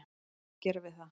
Hvað á ég að gera við það?